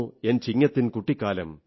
N ചിങ്ങത്തിൻ കുട്ടിക്കാലം